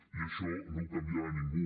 i això no ho canviarà ningú